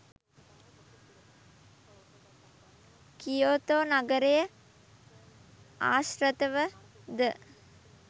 Kyoto නගරය ආශි්‍රතව ද